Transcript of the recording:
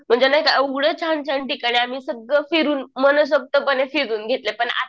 म्हणजे नाही का एवढं छान छान ठिकाणी आम्ही सगळं फिरून मनसोक्तपणे फिरून घेतलए पण आता